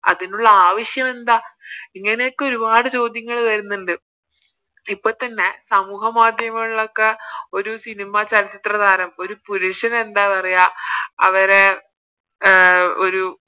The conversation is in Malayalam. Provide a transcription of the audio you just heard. അതിനുള്ള ആവശ്യം എന്താ ഇങ്ങനൊക്കെ ഒരുപാട് ചോദ്യങ്ങള് വരുന്നുണ്ട് ഇപ്പൊത്തന്നെ സാമൂഹ്യ മാധ്യമങ്ങളിലൊക്കെ തന്നെ ഒരു Cinema ചലച്ചിത്ര താരം ഒരു പുരുഷനെന്താ പറയാ അവരെ അഹ് ഒരു